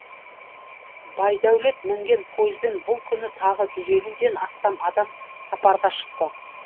байдәулет мінген пойызбен бұл күні тағы жүз елуден астам адам сапарға шықты